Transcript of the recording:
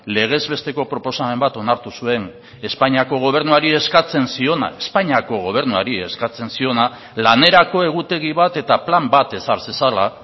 legez besteko proposamen bat onartu zuen espainiako gobernuari eskatzen ziona espainiako gobernuari eskatzen ziona lanerako egutegi bat eta plan bat ezar zezala